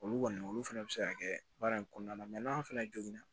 Olu kɔni olu fɛnɛ be se ka kɛ baara in kɔnɔna la n'an fɛnɛ jogin na